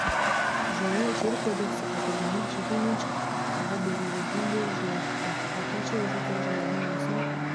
жылы жер кодексі қабылданып жеке меншік құқығы берілгеннен бері жыл өтіпті орташа есеппен жылына өсім